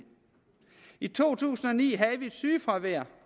i to tusind og ni havde vi et sygefravær